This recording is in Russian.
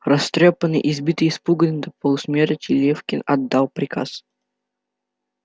растрёпанный избитый и испуганный до полусмерти лефкин отдал приказ